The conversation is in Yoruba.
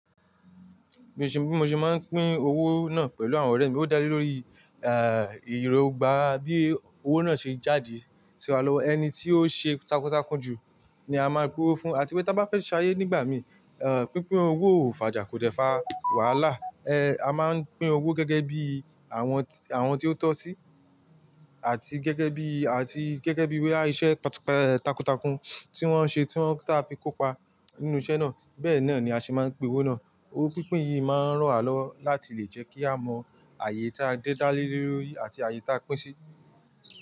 Bí mo ṣe máa ń pín owó náà pẹ̀lú àwọn ọ̀rẹ́ mi, ó dá lé lórí eh ìrògbà bí owó náà ṣe jáde sí wa lọ́wọ́. Ẹni tí ó ṣe takuntakun ju ni a máa ń pín owó fún, àti wípé bá fẹ́ ṣayé nígbà mi, eh pínpín owó ò fàjà kò dẹ fà wàhálà. Eh a máa ń pín owó gẹ́gẹ́ bí àwọn, àwọn tí ó tọ́ sí àti gẹ́gẹ́ bí, àti gẹ́gẹ́ bí i iṣẹ́ takuntakun tí wọ́n ṣe tí wọ́n ta fi kópa nínú iṣẹ́ náà. Bẹ́ẹ̀ náà ni a ṣe máa ń pín owó náà. Owó pínpín yìí máa ń ràn wá lọwo láti lè jẹ́ kí a mọ ààyè tí a dé dálé lórí àti ààyè tí a pín sí.